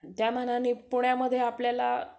त्यामानाने पुण्यामध्ये आपल्याला